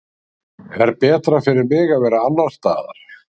Er betra fyrir mig að vera annars staðar?